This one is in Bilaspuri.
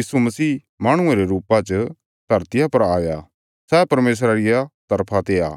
यीशु मसीह माहणुये रे रुपा च धरतिया पर आया सै परमेशरा रिया तरफा ते आ